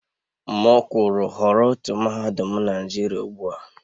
M kwuru họrọ otu mahadum Naijiria ugbua!